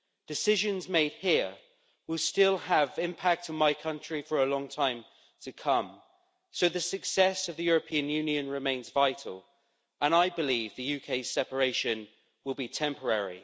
Decisions made here will still have an impact in my country for a long time to come, so the success of the European Union remains vital, and I believe the UK's separation will be temporary.